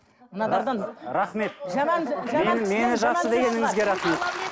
мыналардан рахмет жаман жаман мені жақсы кісі дегеніңізге рахмет